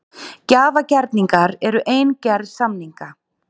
Gjafagerningar eru ein gerð samninga.